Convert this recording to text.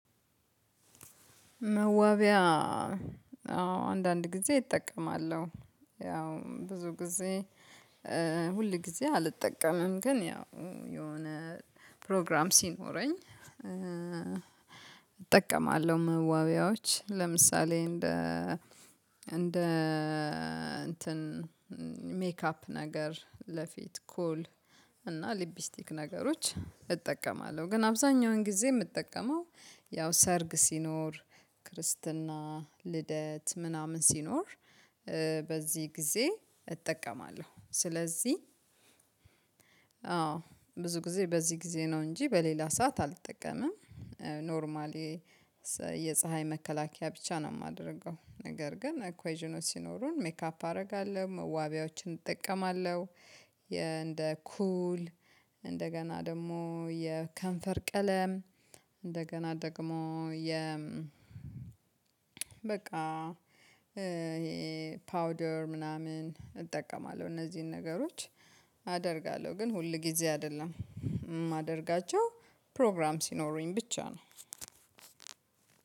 መዋቢያ አንዳንድ ጊዜ እጠቀማለሁ። ያው ብዙ ጊዜ ሁል ጊዜ አልጠቀምም ግን ያው የሆነ ፕሮግራም ሲኖረኝ። እጠቀማለሁ መዋቢያዎች ለምሳሌ እንደ እንደ እንትን ሜካፕ ነገር ለፊት ኩል እና ሊቢስቲክ ነገሮች እጠቀማለሁ ግን አብዛኛውን ጊዜ የምጠቀመው ያው ሰርግ ሲኖር ክርስትና ልደት ምናምን ሲኖር። በዚህ ጊዜ እጠቀማለሁ ስለዚህ አዎ ብዙ ጊዜ በዚህ ጊዜ ነው እንጂ በሌላ ሰዓት አልተጠቀመም። ኖርማሊ የፀሀይ መከላከያ ብቻ ነው የማደርገው። ነገር ግን አኳይዥኖች ሲኖሩን ሜካፕ አደርጋለሁ ዋቢያዎችን እጠቀማለሁ። እንደ ኩል እንደገና ደግሞ የከንፈር ቀለም እንደገና ደግሞ የ በቃ ይሄ ፓውደር ምናምን እጠቀማለሁ እነዚህን ነገሮች አደርጋለሁ ግን ሁል ጊዜ አይደለም የማደርጋቸው ፕሮግራም ሲኖሩኝ ብቻ ነው።